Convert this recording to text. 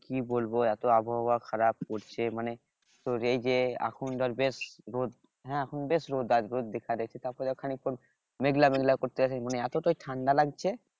কি বলবো এত আবহাওয়া খারাপ করছে মানে তোর এই যে এখন ধর বেশ রোদ হ্যাঁ এখন বেশ রোদ আজ রোদ দেখছি তারপরেও খানিকক্ষণ মেঘলা মেঘলা করতেছে মানে এত ঠান্ডা লাগছে